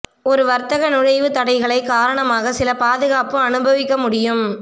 ஒரு வர்த்தக நுழைவு தடைகளை காரணமாக சில பாதுகாப்பு அனுபவிக்க முடியும்